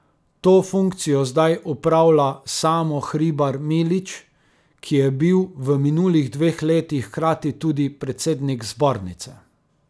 To funkcijo zdaj upravlja Samo Hribar Milič, ki je bil v minulih dveh letih hkrati tudi predsednik zbornice.